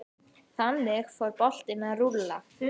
Þannig fór boltinn að rúlla.